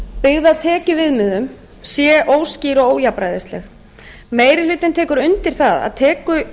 á tekjuviðmiðum sé óskýr og ójafnræðisleg meiri hlutinn tekur undir að